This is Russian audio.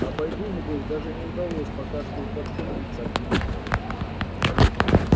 а бойду небось даже не удалось пока что и подступиться к ма